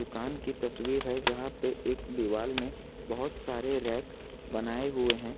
दुकान की तस्वीर है यहां पे एक दीवाल में बहुत सारे रैक बनाए हुए हैं।